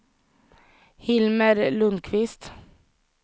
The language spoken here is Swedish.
Hilmer Lundqvist